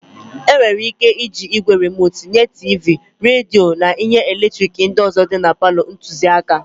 E nwere ị́ké ịji ígwè rimotu nye tiivii, redio na ihe eletrik ndị ọzọ dị palọ ntụziaka.